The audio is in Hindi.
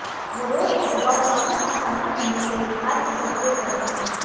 वो रोज के उबाऊ कामों का सामना करने के लिए हास्य का उपयोग करते हैं